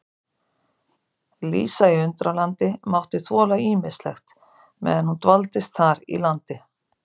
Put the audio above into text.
Lísa í Undralandi mátti þola ýmislegt meðan hún dvaldist þar í landi.